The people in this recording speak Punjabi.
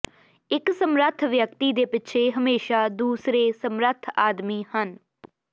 ਇੱਕ ਸਮਰੱਥ ਵਿਅਕਤੀ ਦੇ ਪਿੱਛੇ ਹਮੇਸ਼ਾ ਦੂਸਰੇ ਸਮਰੱਥ ਆਦਮੀ ਹਨ